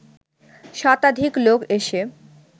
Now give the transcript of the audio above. শতাধিক লোক এসে